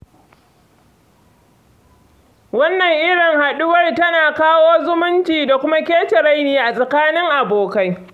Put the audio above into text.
Wannan irin haɗuwar tana kawo zumunci da kuma kece-raini a tsakanin abokai.